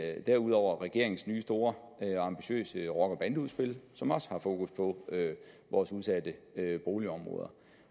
jeg derudover regeringens nye store ambitiøse rocker og bandeudspil som også har fokus på vores udsatte boligområder